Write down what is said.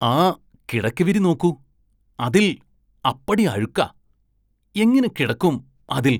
ആ കിടക്കവിരി നോക്കൂ, അതില്‍ അപ്പടി അഴുക്കാ, എങ്ങനെ കിടക്കും അതില്‍?